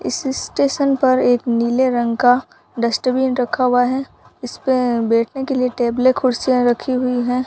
इस स्टेशन पर एक नीले रंग का डस्टबिन रखा हुआ है इसपे बैठने के लिए टेबलें कुर्सियां रखी हुई है।